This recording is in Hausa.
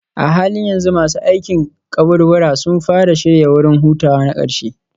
A halin yanzu masu aikin kaburbura sun fara shirya wurin hutawa na ƙarshe.